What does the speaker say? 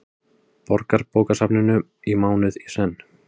Borgarbókasafninu í mánuð í senn.